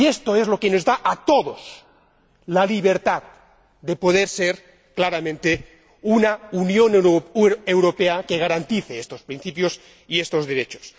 Y esto es lo que nos da a todos la libertad de poder ser claramente una Unión Europea que garantice estos principios y estos derechos.